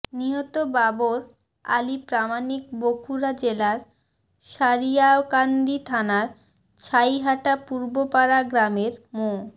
নিহত বাবর আলী প্রামাণিক বগুড়া জেলার সারিয়াকান্দি থানার ছাইহাটা পূর্বপাড়া গ্রামের মো